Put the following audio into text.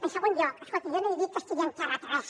en segon lloc escolti jo no he dit que estigui enterrat res